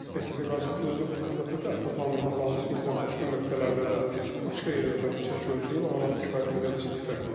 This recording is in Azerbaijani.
Ekspertizə qaydasında özü bu vəsatəti əsaslandırmaq lazımdır ki, məsələn, başqa nöqtələrdə də, başqa yerlərdə bu çəki ölçülüb, aralarında kifayət qədər ciddi fərq var.